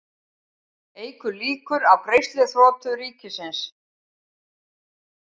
Eykur líkur á greiðsluþroti ríkisins